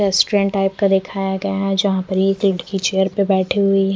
Restaurant type का देखाया गया है जहा पर एक लड़की चेयर पे बेठी हुई है।